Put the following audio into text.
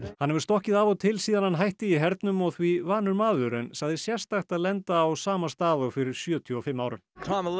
hann hefur stokkið af og til síðan hann hætti í hernum og því vanur maður en sagði sérstakt að lenda á sama stað og fyrir sjötíu og fimm árum